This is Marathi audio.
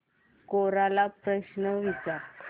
कोरा ला प्रश्न विचार